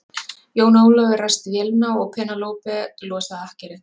Jón Ólafur ræsti vélina og Penélope losaði akkerið.